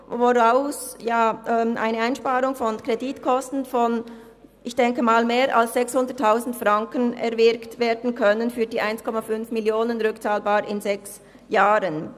Daraus könnte eine Einsparung von Kreditkosten von, denke ich mal, mehr als 600 000 Franken erwirkt werden für die 1,5 Mio. Franken, rückzahlbar in sechs Jahren.